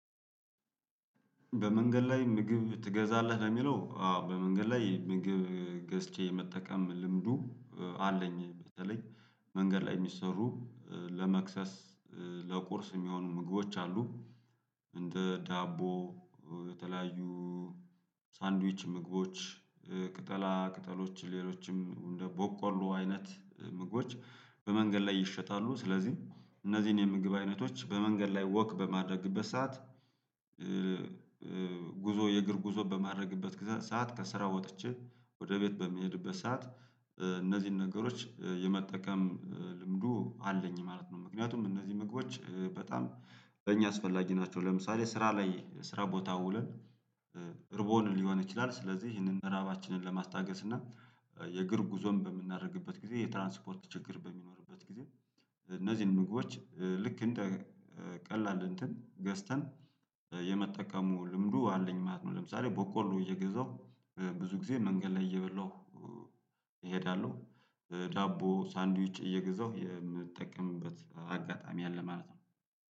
በመንገድ ላይ ምግብ ትገዛለህ ለሚለው አዎ በመንገድ ላይ ምግብ ገዝቼ የመጠቀም ልምዱ አለኝ በተለይ መንገድ ላይ የሚሰሩ ለመክሰ፣ ለቁርስ የሚሆኑ ምግቦች አሉ፤ እንደ ዳቦ የተለያዩ ሳንድዊች ምግቦች፣ ቅጠላ ቅጠሎች ሌሎችም እንደ ቦቆሎ አይነት ምግቦች በመንገድ ላይ ይሸጣሉ ስለዚህ እነዚህን የምግብ አይነቶች በመንገድ ላይ ወክ በማድረግበት ሰዓት ጉዞ የእግር ጉዞ በማድረግበት ሰዓት፣ ከስራው ወጥቼ ወደ ቤት በሚሄድበት ሰዓት፣ እነዚህን ነገሮች የመጠቀም ልምዱ አለኝ ማለት ነው፤ ምክንያቱም እነዚህ ምግቦች በጣም ለእኛ አስፈላጊ ናቸው ለምሳሌ ስራ ላይ ስራ ቦታ ውለን ርቦን ሊሆን ይችላል ስለዚህ ይሄንን ራባችንን ለማስታገስ እና የእግር ጉዞን በምናደርግበት ጊዜ የትራንስፖርት ችግር በሚኖርበት ጊዜ እነዚህን ልክ እንደ ቀላል እንትን ገዝተን የመጠቀሙ ልምዱ አለኝ ማለት ነ፤ ለምሳሌ ቦቆሎ እየገዛሁ ብዙ ጊዜ መንገድ ላይ እየበላሁ እሄዳለሁ ዳቦ ሳንዲዊች እየገዛሁ የምጠቀምበት አጋጣሚ አለ ማለት ነው።